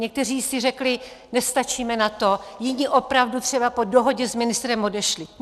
Někteří si řekli "nestačíme na to", jiní opravdu třeba po dohodě s ministrem odešli.